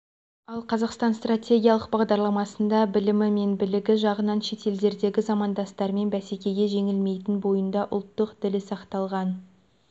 ал қазақстан стратегиялық бағдарламасында білімі мен білігі жағынан шетелдердегі замандастармен бәсекеде жеңілмейтін бойында ұлттық ділі сақталған